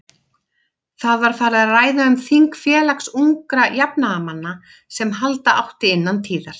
Það var farið að ræða um þing Félags ungra jafnaðarmanna, sem halda átti innan tíðar.